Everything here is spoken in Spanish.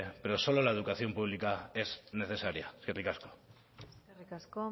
pero solo la educación pública es necesaria eskerrik asko eskerrik asko